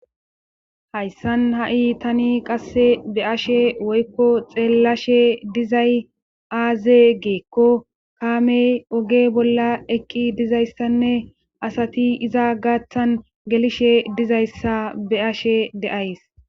Hayssan ha7i tani qasse be ashe woykko xeellashe dizay aazee geekko kaame oge bolla ekki dizayssanne asati iza gaaththan gelishe dizayssa be ashe deays